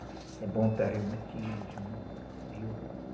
É bom para reumatismo, viu?